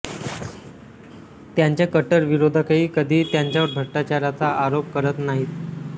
त्यांचे कट्टर विरोधकही कधीही त्यांच्यावर भ्रष्टाचाराचा आरोप करत नाहीत